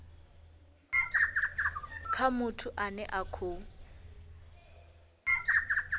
kha muthu ane a khou